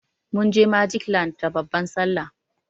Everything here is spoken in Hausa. Munje magic land da babban sallah.